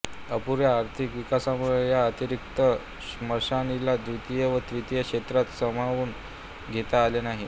अपुऱ्या आर्थिक विकासामुळे या अतिरिक्त श्रमशक्तीला द्वितीय व तृतीय क्षेत्रात सामावून घेता आले नाही